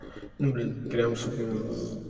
ну блин прям сука